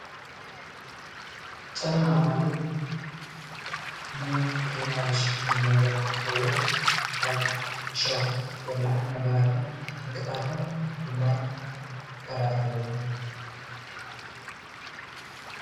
ጫማ ማለት ንእግርና ዝሽፍን ነገር እንትኸውን ካብ እሾክ፣ በላሕቲ ነገራትን ዕንቅፋትን ድማ ይኸለኸለልና